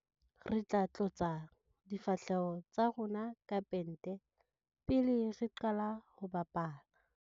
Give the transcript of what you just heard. Re tla tlotsa difahleho tsa rona ka pente pele re qala ho bapala.